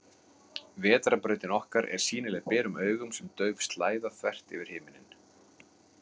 Vetrarbrautin okkar er sýnileg berum augum sem dauf slæða, þvert yfir himinninn.